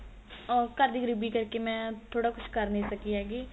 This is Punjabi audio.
ਉਹ ਘਰ ਦੀ ਗਰੀਬੀ ਕਰ ਕੇ ਮੈਂ ਥੋੜਾ ਕੁੱਝ ਕ਼ਰ ਨੀ ਸਕੀ ਹੈਗੀ